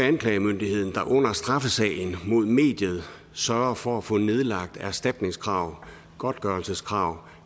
anklagemyndigheden der under straffesagen mod mediet sørger for at få nedlagt erstatningskrav godtgørelseskrav